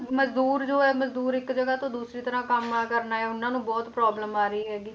ਮਜ਼ਦੂਰ ਜੋ ਹੈ ਮਜ਼ਦੂਰ ਇੱਕ ਜਗ੍ਹਾ ਤੋਂ ਦੂਸਰੀ ਤਰ੍ਹਾਂ ਕੰਮ ਕਰਨ ਆਏ ਉਹਨਾਂ ਨੂੰ ਬਹੁਤ problem ਆ ਰਹੀ ਹੈਗੀ,